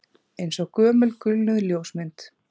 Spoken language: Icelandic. Eins og gömul gulnuð ljósmynd